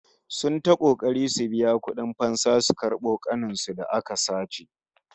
Sun yi ta kokari su biya kudin fansa su karbo ƙanin su da aka sace